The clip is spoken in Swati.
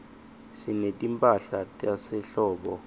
sinetimphahla tasehlobo